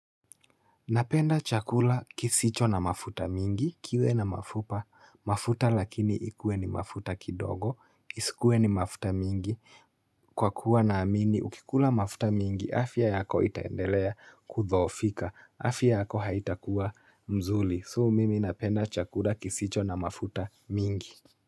Napenda chakula kisicho na mafuta mingi, kiwe na mafupa, mafuta lakini ikue ni mafuta kidogo, kisikue ni mafuta mingi, kwa kuwa naamini ukikula mafuta mingi afya yako itaendelea kudhoofika, afya yako haitakuwa mzuri. So mimi napenda chakula kisicho na mafuta mingi.